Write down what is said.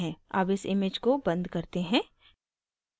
अब इस image को बंद करते हैं